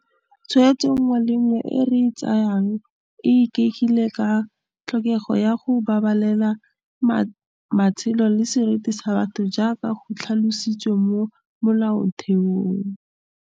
Tshwetso nngwe le nngwe e re e tsayang e ikaegile ka tlhokego ya go babalela matshelo le seriti sa batho jaaka go tlhalositswe mo Molaotheong.